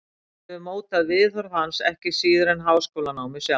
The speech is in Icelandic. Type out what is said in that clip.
Þetta hefur mótað viðhorf hans ekki síður en háskólanámið sjálft.